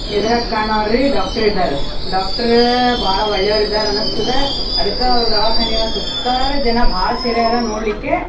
ಇದರಾಗ್ ಕಾಣೊವ್ರಿ ಡಾಕ್ಟರ್ ಇದ್ದಾರೆ. ಡಾಕ್ಟರ್ ಬಾಳ ಒಳ್ಳೆಯವರು ಇದ್ದಾರೆ ಅನಿಸ್ತದೆ. ಅದಕ್ಕೆ ಅವರ ದವಾಖಾನೆಯ ಸುತ್ತಾರೆ ಜನ ಬಾಳ ಸೇರ್ಯಾರೆ ನೋಡ್ಲಿಕ್ಕೆ.